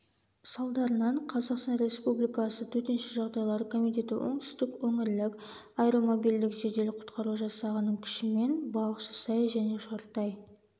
салдарынан қазақстан республикасы төтенше жағдайлар комитеті оңтүстік өңірлік аэромобильдік жедел-құтқару жасағының күшімен балықшысай және шортай